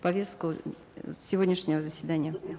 в повестку сегодняшнего заседания